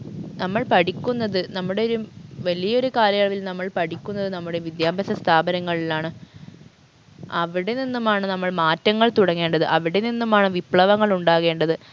നമ്മൾ പഠിക്കുന്നത് നമ്മുടൊരു ഉം വലിയൊരു കാലയളവിൽ നമ്മൾ പഠിക്കുന്നത് നമ്മുടെ വിദ്യാഭ്യാസ സ്ഥാപനങ്ങളിലാണ് അവിടെ നിന്നുമാണ് നമ്മൾ മാറ്റങ്ങൾ തുടങ്ങേണ്ടത് അവിടെ നിന്നുമാണ് വിപ്ലവങ്ങൾ ഉണ്ടാകേണ്ടത്